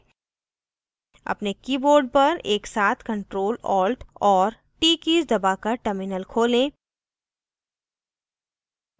अपने keyboard पर एकसाथ ctrl + alt और t कीज़ दबाकर terminal खोलें